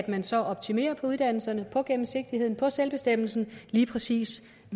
man så optimerer uddannelserne gennemsigtigheden selvbestemmelsen lige præcis